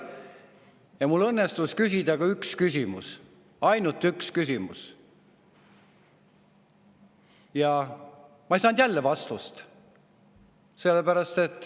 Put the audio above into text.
Ja mul õnnestus küsida üks küsimus – ainult üks küsimus –, aga ma ei saanud jälle vastust.